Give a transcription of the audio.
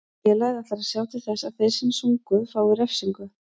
Félagið ætlar að sjá til þess að þeir sem sungu fái refsingu.